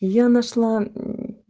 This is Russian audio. и я нашла мм